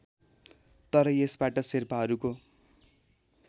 तर यसबाट शेर्पाहरूको